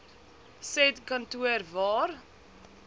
said kantoor waar